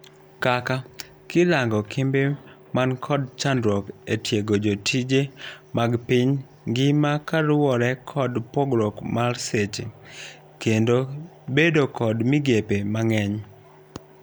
Kaka, kirango kembe man kod chandruok etiego jotije mag piny ngima kaluwore kod pogruok mar seche. kendo bedo kod migepe mang'eny.